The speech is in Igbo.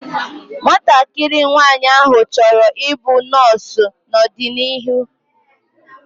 Nwatakịrị nwaanyị áhụ̀ chọrọ i bụ nọọsu n'ọdịnihu